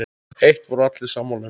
Eitt voru allir sammála um.